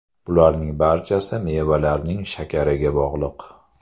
Bularning barchasi mevalarning shakariga bog‘liq.